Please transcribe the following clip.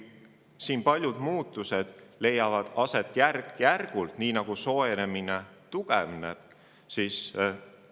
Paljud muutused leiavad aset järk-järgult, nii nagu ka soojenemine tugevneb.